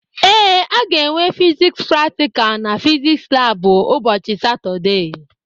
Ee, a ga-enwe fiziks praktikal na fiziks labụ ụbọchị Satọdee